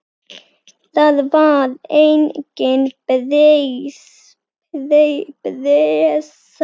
Það var engin pressa.